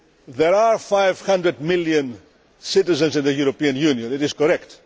There are 500 million citizens in the European Union that is correct.